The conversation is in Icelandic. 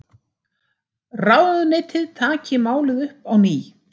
Ráðuneytið taki málið upp á ný